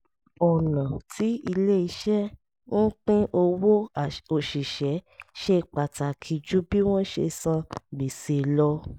ọ̀nà tí ilé-iṣẹ́ ń pín owó òṣìṣẹ́ ṣe pàtàkì ju bí wọ́n ṣe san gbèsè lọ